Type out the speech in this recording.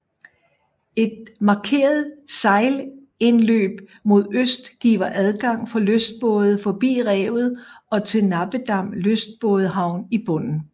Et markeret sejlindløb mod øst giver adgang for lystbåde forbi revet og til Nappedam Lystbådehavn i bunden